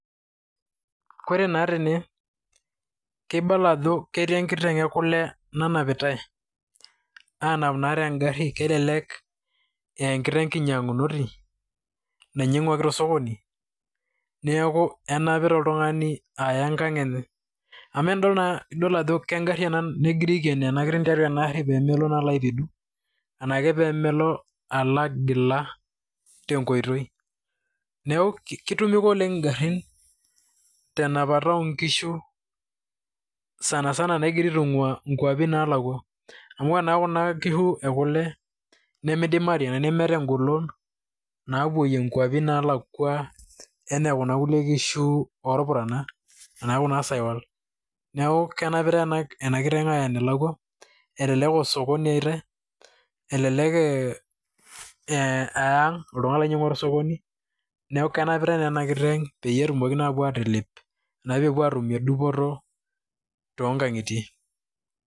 kore naa tene keibala ajo ketii enkiteng ekule nanapitae, anap naa tengarri kelelek ee enkiteng kinyiang'unoti nainyiang'uaki tosokoni neeku enapita oltung'ani aya enkang enye amu enidol naa idol ago kengarri ena negirae aikenoo ena kiteng tiatua ena arri pemelo naa aolo aipidu anake pemelo alo agila tenkoitoi neeku kitumika oleng ingarrin tenapata onkishu sana sana nagirae aitung'ua nkuapi nalakua amo ona kuna kishu ekule nemidimari enae nemeeta engolon naapuoyie nkuapi nalakua enaa kuna kulie kishu orpurana ana kuna saiwal neeku kenapitae ena kiteng aya enelakua elelek aa osokoni eyaitae elelek ee ang oltung'ani loinyiang'ua tosokoni neeku kenapitae naa ena kiteng peyie etumoki naa apuo atelep enaa pepuo atumie dupoto tonkang'itie.